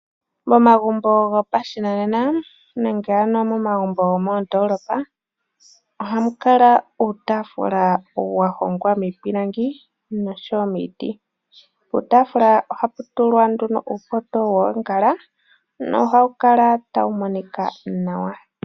Momagumbo gopashinanena nenge ano momagumbo gomondoolopa ohamu kala uutafula wa hongwa miipilangi nosho woo miiti. Puutaafula ohapu tulwa nduno uupoto woongala nohawu kala tawu monika nawa.